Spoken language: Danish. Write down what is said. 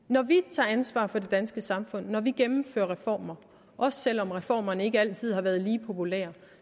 når vi tager ansvar for det danske samfund når vi gennemfører reformer også selv om reformerne ikke altid har været lige populære